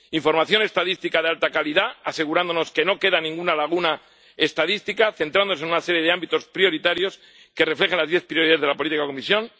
Primero, información estadística de alta calidad, asegurándonos de que no queda ninguna laguna estadística y centrándonos en una serie de ámbitos prioritarios que reflejen las diez prioridades de la política de la Comisión.